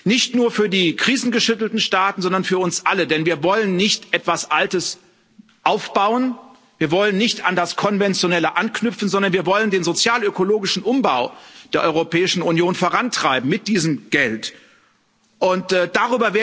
Nicht nur für die krisengeschüttelten Staaten, sondern für uns alle, denn wir wollen nicht etwas Altes aufbauen, wir wollen nicht an das Konventionelle anknüpfen, sondern wir wollen den sozialökologischen Umbau der Europäischen Union mit diesem Geld vorantreiben.